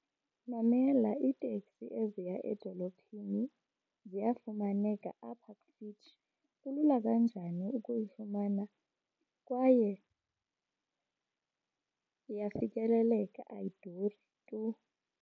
Mamela, iiteksi eziya edolophini ziyafumaneka apha kufitshi. Kulula kanjani ukuyifumana kwaye iyafikeleleka ayiduri tu.